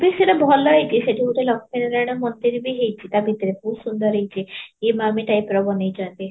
ଆରେ ସେତ ଭଲ ହେଇଛି ସେଇଠି ଗୋଟେ ଲକ୍ଷ୍ମୀ ନାରାୟଣ ମନ୍ଦିର ବି ହେଇଛି ତା ଭିତରେ ବହୁତ ସୁନ୍ଦର ହେଇଛି type ର ବନେଇଛନ୍ତି